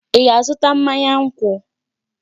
Ị ga-azụta mmanya nkwụ?